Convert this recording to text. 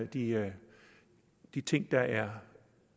de de ting der er